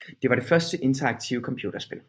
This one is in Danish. Det var det første interaktive computerspil